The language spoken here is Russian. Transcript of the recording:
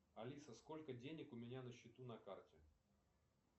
алиса сколько денег у меня на счету на карте